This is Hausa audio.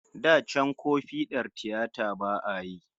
Da can ko fiɗar tiyata ba'a yi